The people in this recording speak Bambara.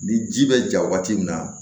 Ni ji bɛ ja waati min na